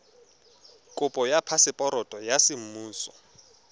kopo ya phaseporoto ya semmuso